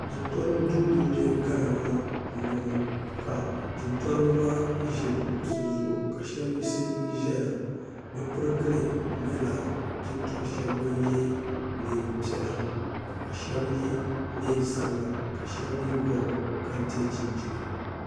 jintɔriba duu din be ghana maa m-bɔŋɔ ka jintɔriba maa ʒi bɛ kuɣisi zuɣu ka shaba yiɣisi zaya bɛ pirigili nyɛla jintɔr' shɛba ban ye neem' piɛla ka shaba ye neen' sabila ka shaba mi gɔbi kente chinchina